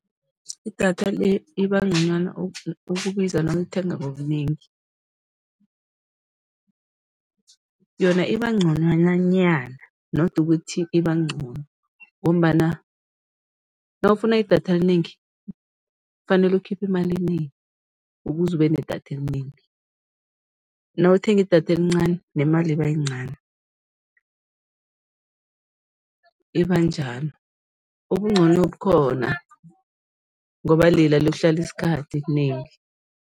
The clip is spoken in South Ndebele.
Idatha le iba nconywana ukubiza nawulithenga ngobunengi, yona iba nconywananyana not ukuthi iba ncono ngombana nawufuna idatha elinengi, kufanele ukhiphe imali enengi ukuze ube nedatha elinengi, nawuthenga idatha elincani, nemali iba yincani, iba njalo, ubuncono bukhona ngoba lela liyokuhlala isikhathi, elinengi.